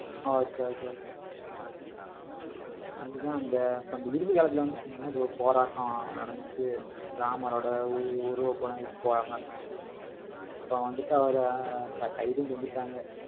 ஆஹ் okay okay okay அதுதான், அந்த அந்த இறுதி காலத்துல வந்து, சொன்னேன்ல ஒரு போராட்டம் நடந்துச்சு ராமரோட உரு~ உருவப்படம் எரிப்பு போராட்டம் நடந்துச்சு. இப்ப வந்துட்டு அவரை கை~ கைதும் செஞ்சுட்டாங்க.